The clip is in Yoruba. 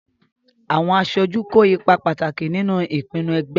Àwọn aṣojú kó ipa pàtàkì nínú ìpinnu ẹgbẹ́.